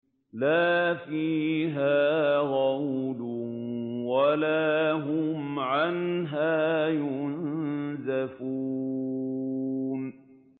لَا فِيهَا غَوْلٌ وَلَا هُمْ عَنْهَا يُنزَفُونَ